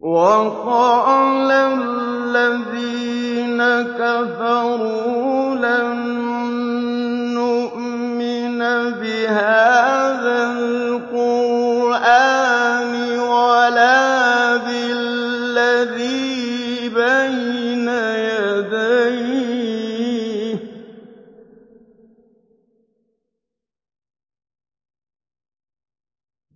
وَقَالَ الَّذِينَ كَفَرُوا لَن نُّؤْمِنَ بِهَٰذَا الْقُرْآنِ وَلَا بِالَّذِي بَيْنَ يَدَيْهِ ۗ